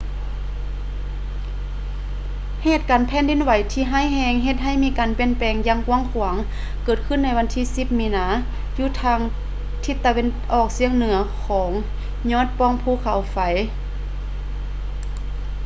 ເຫດການແຜ່ນດິນໄຫວທີ່ຮ້າຍແຮງເຮັດໃຫ້ມີການປ່ຽນແປງຢ່າງກວ້າງເກີດຂຶ້ນໃນວັນທີ 10 ມີນາ ຢູ່ທາງທິດຕາເວັນອອກສຽງເໜືອຂອງຍອດປ່ອງພູເຂົາໄຟ